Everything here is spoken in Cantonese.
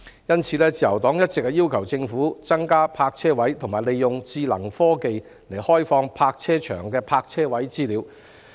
因此，自由黨一直要求政府增加泊車位，以及利用智能科技傳送停車場的泊車位資料。